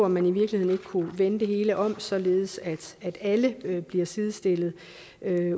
man i virkeligheden ikke kunne vende det hele om således at alle bliver sidestillet